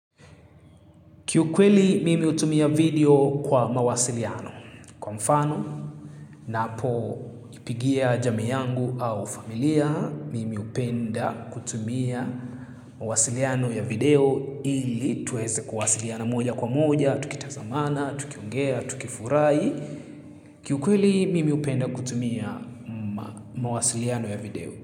Kiukweli, mimi hutumia video kwa mawasiliano. Kwa mfano, napoipigia jamii yangu au familia, mimi hupenda kutumia mawasiliano ya video ili tuweze kuwasiliana moja kwa moja, tukitazamana, tukiongea, tukifurahi. Kiukweli, mimi upenda kutumia mawasiliano ya video.